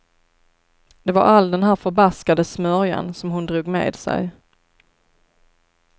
Det var all den här förbaskade smörjan som hon drog med sig.